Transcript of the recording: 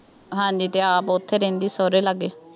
ਹਾਂਜੀ ਅਤੇ ਆਪ ਉੱਥੇ ਰਹਿੰਦੀ ਸਹੁਰਿਆਂ ਲਾਗੇ,